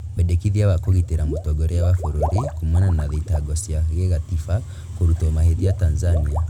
Wendekithia wa kũgitĩra mũtongoria wa bũrũri kumana na thitango cia gĩgatiba kũrutwo mahĩtia Tanzania